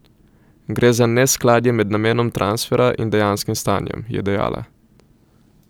Gre za neskladje med namenom transfera in dejanskim stanjem, je dejala.